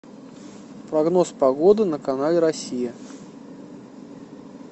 прогноз погоды на канале россия